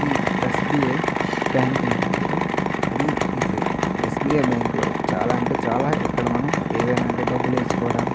ఇది S. B. I bank ఉంటది కదా అది ఇది. ఎస్బిఐ బ్యాంకు లో చాలా అంటే చాలా ఎక్కడ మనం ఏవైనా అంటే డబ్బులు వేసుకోవడం --